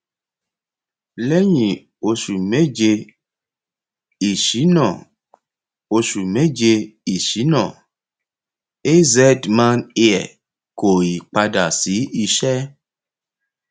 lẹyìn oṣù méje ìṣínà oṣù méje ìṣínà azman air kò ì padà sí iṣẹ